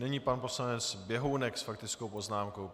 Nyní pan poslanec Běhounek s faktickou poznámkou.